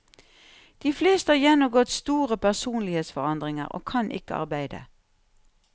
De fleste har gjennomgått store personlighetsforandringer, og kan ikke arbeide.